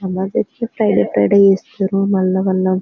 Friday Friday మల్ల మల్ల.